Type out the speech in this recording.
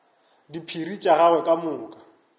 diphiri tša gagwe ka moka